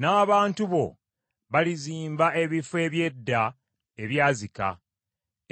N’abantu bo balizimba ebifo eby’edda ebyazika